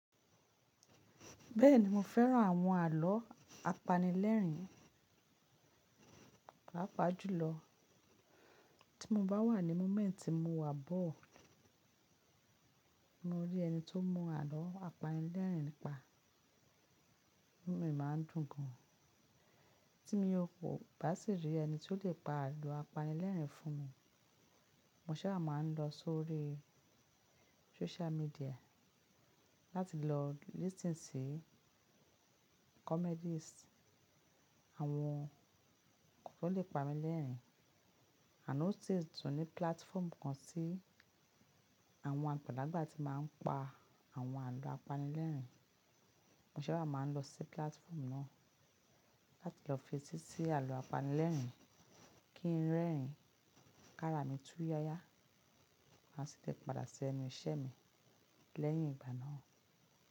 Bẹ́ẹ̀ni mo fẹ́ran àwọn àlọ́ apanilẹ́rìn-ín. Paapaa ju lọ, tí mo bá wà ní moment tí mo wà bored, mo rí ẹni tó ń mọ àlọ́ apanilẹ́rìn-ín pa, inu mí máa ń dùn gan. Tí mo kò bá sì rí ẹni tí ó lè pa àlọ́ apanilẹ́rìn-ín fún mi, mo sábà máa ń lọ sórí social media láti lọ listen sí comedies, àwọn kan tó lè pani lẹ́rìn-ín. Ànd ó sì tún ní platform kan tí àwọn àgbàlagbà ti máa ń pa àwọn àlọ́ apanilẹ́rìn-ín, mo sábà máa ń lọ sí platform náà láti lọ fetí sí àlọ́ apanilẹ́rìn-ín kí ń rẹ́rìn-ín, kára mi túya ya àti tẹ padà sí ẹnu iṣẹ́ mi lẹ́yìn ìgbà náà.